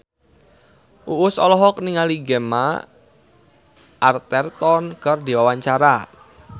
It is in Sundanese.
Uus olohok ningali Gemma Arterton keur diwawancara